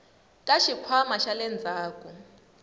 ka xikhwama xa le ndzhaku